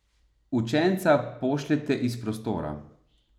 Učenca pošljete iz prostora.